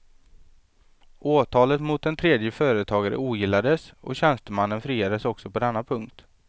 Åtalet mot en tredje företagare ogillades och tjänstemannen friades också på denna punkt.